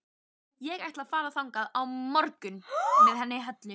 Ég ætla að fara þangað á morgun með henni Höllu.